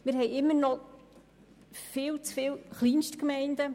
Wir haben noch immer viel zu viele Kleinstgemeinden.